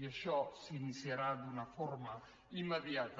i això s’iniciarà d’una forma immediata